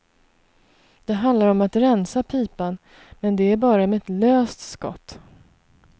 Det handlar om att rensa pipan, men det är bara med ett löst skott.